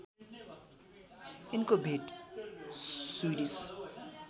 यिनको भेट स्विडिस